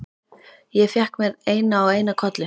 Ég fékk mér eina og eina kollu.